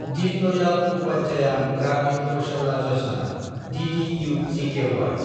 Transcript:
दिन दयाल उपाध्याया ग्रामीन कौशल्य यजना (द्दु-गखि)